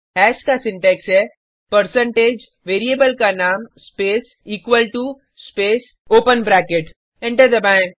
hash का syntax है percentage variable का नाम space equal to space open bracket enter दबाएँ